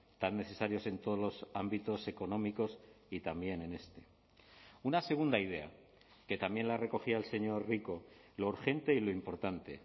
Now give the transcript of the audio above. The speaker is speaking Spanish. tan necesarios en todos los ámbitos económicos y también en este una segunda idea que también la recogía el señor rico lo urgente y lo importante